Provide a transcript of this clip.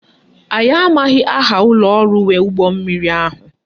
Anyị amaghị aha ụlọọrụ nwe ụgbọmmiri ahụ